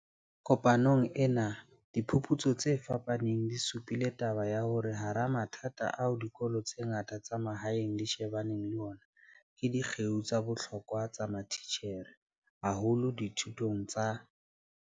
Kopanong ena, diphu putso tse fapaneng di supile taba ya hore hara mathata ao dikolo tse ngata tsa mahaeng di shebaneng le ona ke di kgeo tsa bohlokwa tsa matitjhere, haholo dithutong tsa.